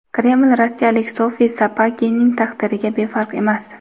Kreml rossiyalik Sofi Sapegining taqdiriga befarq emas.